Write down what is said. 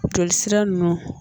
Joli sira nunnu